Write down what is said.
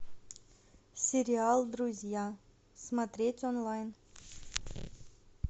сериал друзья смотреть онлайн